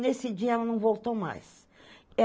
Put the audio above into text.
Nesse dia ela não voltou mais.